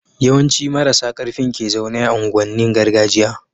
yawan ci marasa karfin ke zaune a unguwan nin gargajiya